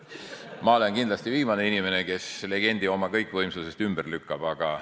Ma olen kindlasti viimane inimene, kes legendi oma kõikvõimsusest ümber lükkab.